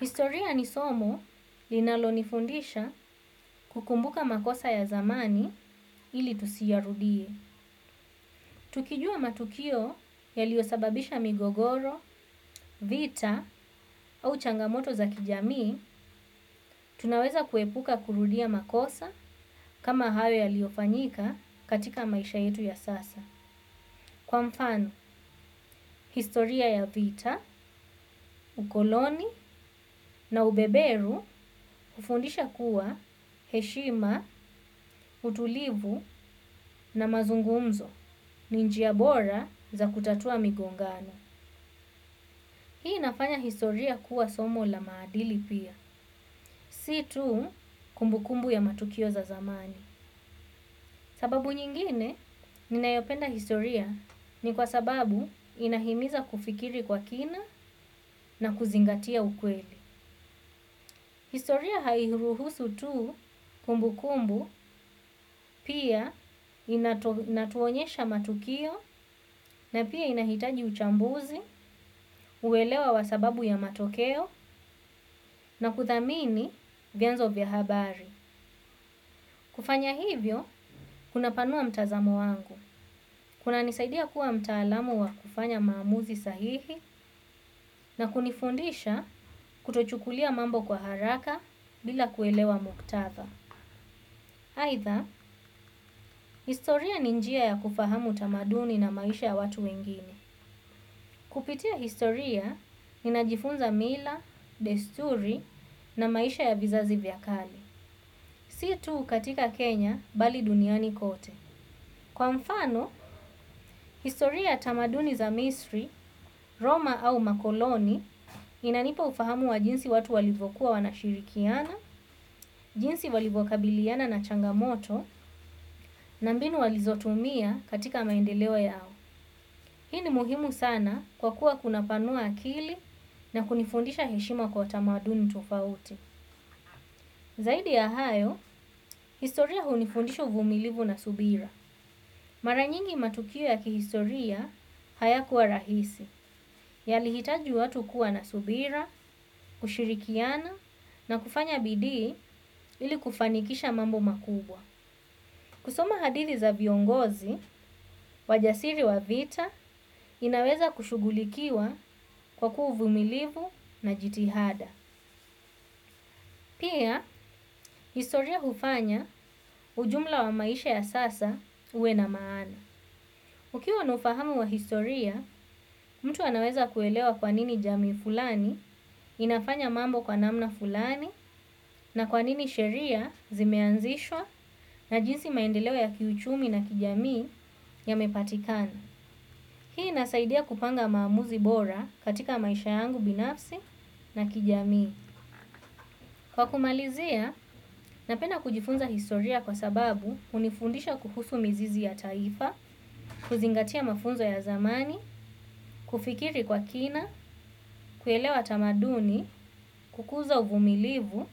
Historia ni somo linalonifundisha kukumbuka makosa ya zamani ili tusiarudie. Tukijua matukio ya liosababisha migogoro, vita au changamoto za kijami, tunaweza kuepuka kurudia makosa kama hayo ya liofanyika katika maisha yetu ya sasa. Kwa mfano, historia ya vita, ukoloni na ubeberu, ufundisha kuwa heshima, utulivu na mazungumzo, ninjia bora za kutatua migongano. Hii inafanya historia kuwa somo la maadili pia, si tu kumbu kumbu ya matukio za zamani. Sababu nyingine ninayopenda historia ni kwa sababu inahimiza kufikiri kwa kina na kuzingatia ukweli. Historia hairuhusu tu kumbu kumbu pia inatuonyesha matukio na pia inahitaji uchambuzi, uwelewa wa sababu ya matokeo na kuthamini vienzo vya habari. Kufanya hivyo kunapanua mtazamo wangu. Kuna nisaidia kuwa mtaalamu wa kufanya maamuzi sahihi na kunifundisha kutochukulia mambo kwa haraka bila kuelewa muktadha. Haitha, historia ninjia ya kufahamu tamaduni na maisha ya watu wengine. Kupitia historia, ninajifunza mila, desturi na maisha ya vizazi vyakale. Si tu katika Kenya bali duniani kote kwa mfano, historia tamaduni za Misri, Roma au makoloni inanipa ufahamu wa jinsi watu walivokuwa wanashirikiana. Jinsi walivokabiliana na changamoto na mbinu walizotumia katika maendelewo yao hii ni muhimu sana kwa kuwa kunapanua akili na kunifundisha heshima kwa tamaduni tofauti. Zaidi ya hayo, historia hunifundisha uvumilivu na subira. Maranyingi matukio ya kihistoria haya kuwa rahisi, ya lihitaji watu kuwa na subira, kushirikiana na kufanya bidi ili kufanikisha mambo makubwa. Kusoma hadithi za viongozi, wajasiri wa vita inaweza kushugulikiwa kwa kuu vumilivu na jitihada. Pia, historia hufanya ujumla wa maisha ya sasa uwe na maana. Ukiwa nufahamu wa historia, mtu anaweza kuelewa kwa nini jamii fulani inafanya mambo kwa namna fulani na kwa nini sheria zimeanzishwa na jinsi maendelewo ya kiuchumi na kijamii ya mepatikana. Hii nasaidia kupanga maamuzi bora katika maisha yangu binafsi na kijamii. Kwa kumalizia, napenda kujifunza historia kwa sababu unifundisha kuhusu mizizi ya taifa, kuzingatia mafunzo ya zamani, kufikiri kwa kina, kuelewa tamaduni, kukuza uvumilivu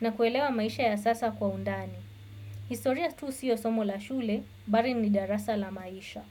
na kuelewa maisha ya sasa kwa undani. Historia tu siyo somo la shule, bari ni darasa la maisha.